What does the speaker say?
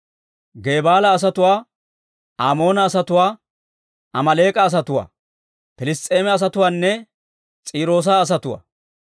Gebaala asatuwaa, Amoona asatuwaa, Amaaleek'a asatuwaa, Piliss's'eema asatuwaanne S'iiroosa asatuwaa.